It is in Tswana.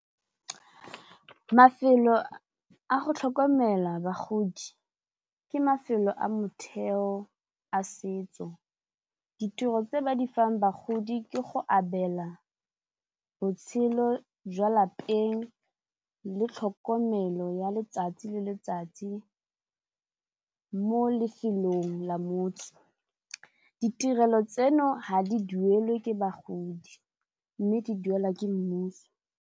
Mafelo a go tlhokomela bagodi ke mafelo a motheo a setso ditiro tse ba di fang bagodi ke go abela botshelo jwa lapeng le tlhokomelo ya letsatsi le letsatsi mo lefelong la motse, ditirelo tseno ha di duelwe ke bagodi mme di duelwa ke mmuso.